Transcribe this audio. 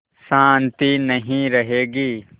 शान्ति नहीं रहेगी